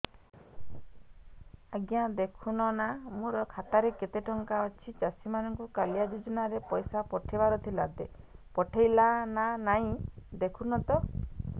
ଆଜ୍ଞା ଦେଖୁନ ନା ମୋର ଖାତାରେ କେତେ ଟଙ୍କା ଅଛି ଚାଷୀ ମାନଙ୍କୁ କାଳିଆ ଯୁଜୁନା ରେ ପଇସା ପଠେଇବାର ଥିଲା ପଠେଇଲା ନା ନାଇଁ ଦେଖୁନ ତ